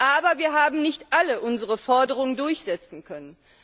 Aber wir haben nicht alle unsere Forderungen durchsetzen können.